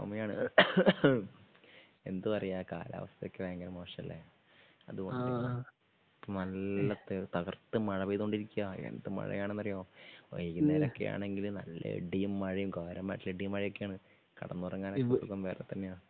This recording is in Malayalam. ചുമയാണ്. എന്തു പറയാ കാലാവസ്ഥ ഒക്കെ ഭയങ്കര മോശമല്ലേ? അത് കൊണ്ട് നല്ല തകർത്ത് മഴ പേയതോണ്ടിരിക്കുകയാ എന്തു മഴയാണെന്നാറിയോ വൈകുന്നേരം ഒക്കെ ആണെങ്കിൽ നല്ല ഇടിയും മഴയും ഘോരമായിട്ടുള്ള ഇടിയും മഴയും ഒക്കെയാണ്. കിടന്നുറങ്ങാന് ഇപ്പോ വേറെ തന്നെയാ